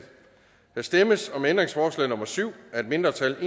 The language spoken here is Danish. der stemmes om ændringsforslag nummer syv af et mindretal